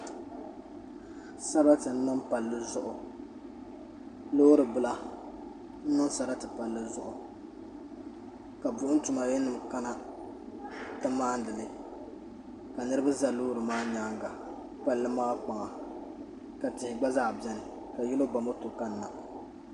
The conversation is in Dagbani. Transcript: Sarati n niŋ palli zuɣu loori bila n niŋ sarati palli zuɣu ka buɣum tuma yili nima kana n ti maani li ka niriba za loori maa nyaanga palli maa kpaŋa ka tihi gna zaa biɛni ka yino ba moto kanna.